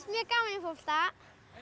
mjög gaman í fótbolta